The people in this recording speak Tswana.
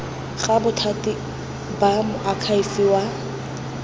ga bothati ba moakhaefe wa